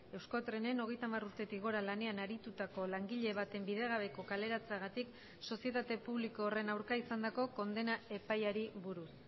euskotrenen hogeita hamar urtetik gora lanean aritutako langile baten bidegabeko kaleratzeagatik sozietate publiko horren aurka izandako kondena epaiari buruz